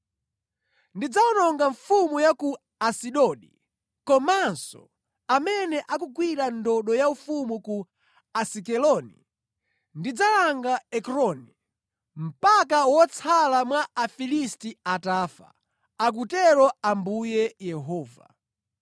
Ndidzawononga mfumu ya ku Asidodi komanso amene akugwira ndodo yaufumu ku Asikeloni. Ndidzalanga Ekroni, mpaka wotsala mwa Afilisti atafa,” akutero Ambuye Yehova.